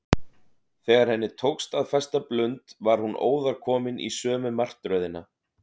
Þegar henni tókst að festa blund var hún óðar komin í sömu martröðina.